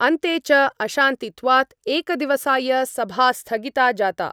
अन्ते च अशान्तित्वात् एकदिवसाय सभा स्थगिता जाता।